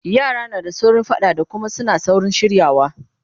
yara na saurin faɗa da Kuma suna saurin shiryawa